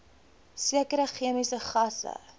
sekere chemiese gasse